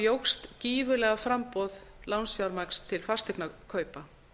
jókst gífurlega framboð lánsfjármagns til fasteignakaupa